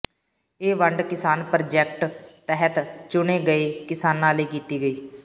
ਇਹ ਵੰਡ ਕਿਸਾਨ ਪ੍ਰਾਜੈਕਟ ਤਹਿਤ ਚੁਣੇ ਗਏ ਕਿਸਾਨਾਂ ਲਈ ਕੀਤੀ ਗਈ